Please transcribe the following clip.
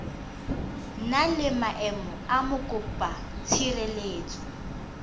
na le maemo a mokopatshireletso